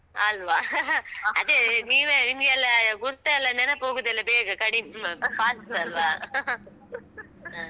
ಅಲ್ವಾ? ಅದೇ, ನೀವೇ ಇನ್ನು ಎಲ್ಲ ಗುರ್ತ ಎಲ್ಲ ನೆನಪೋಗುದೆಲ್ಲ ಬೇಗ ಕಡಿಮೆ fast ಅಲ್ವಾ? ಹ.